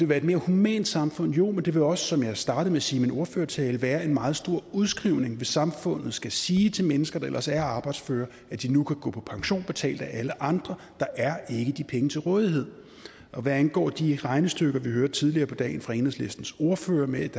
være et mere humant samfund jo men det vil også som jeg startede med at sige i min ordførertale være en meget stor udskrivning hvis samfundet skal sige til mennesker der ellers er arbejdsføre at de nu kan gå på pension betalt af alle andre der er ikke de penge til rådighed hvad angår de regnestykker vi hørte tidligere på dagen fra enhedslistens ordfører om at